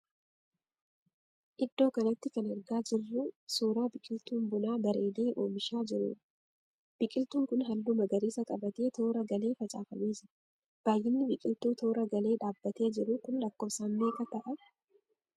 Iddoo kanatti kan argaa jirruu suuraa biqiltuun bunaa bareedee oomishaa jiruudha. Biqiltuun kun halluu magariisa qabatee toora galee facaafamee jira. Baayyinni biqiltuu toora galee dhaabbatee jiru kun lakkoofsaan meeqa ta'a?